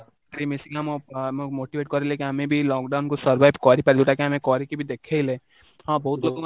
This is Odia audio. ମିଶକି ନା ଆମ ଆମ motivate କରେଇଲେ କି ଆମେ lockdown କୁ survive କରିପାରିବୁ ଯୋଉଟା କି ଆମେ କରିକି ବି ଦେଖେଇଲେ ହଁ, ବହୁତ ଲୋକ